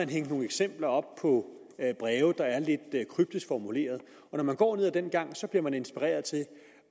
de hængt nogle eksempler op på breve der er lidt kryptisk formuleret og når man går ned ad den gang bliver man inspireret til